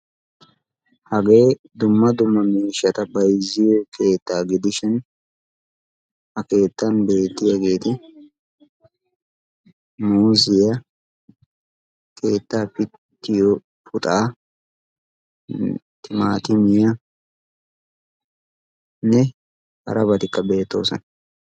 Hagee dumma dumma miishshshta bayzziyo keettaa gidishin ha keettan beettiyaageti muuziya, keettaa pittiyo puxaa, timmaattimiyanne harabatikka beettoosona.